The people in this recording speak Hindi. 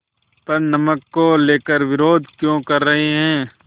पर नमक को लेकर विरोध क्यों कर रहे हैं